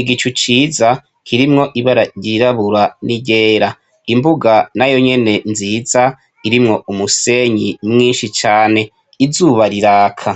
igicu ciza kirimwo ibara ryirabura niryera imbuga nayo nyene nziza irimwo umusenyi mwinshi cane izuba riraka